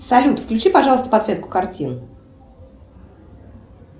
салют включи пожалуйста подсветку картин